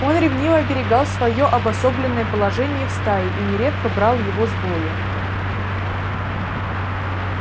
он ревниво оберегал своё обособленное положение в стае и нередко брал его с бою